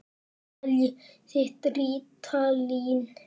Seljið þið rítalín?